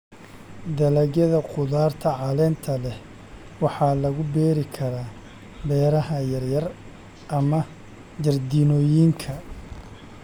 Dalagyada khudaarta caleenta leh waxaa lagu beeri karaa beeraha yar yar ama jardiinooyinka.